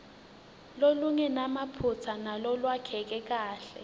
lolungenamaphutsa nalolwakheke kahle